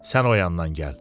Sən oyandan gəl.